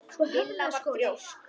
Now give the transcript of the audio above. Lilla var þrjósk.